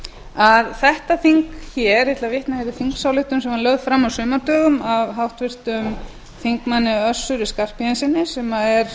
að þetta þing hér ég ætla að vitna hér í þingsályktun sem var lögð fram á sumardögum af háttvirtum þingmanni össuri skarphéðinssyni sem er